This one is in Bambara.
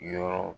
Yɔrɔ